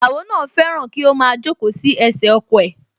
Ìyàwó náà fẹ́ràn kí ó máa jókòó sí ẹsẹ̀ ọkọ̀ ẹ̀